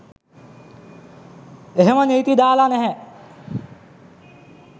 එහෙම නීති දාලා නැහැ.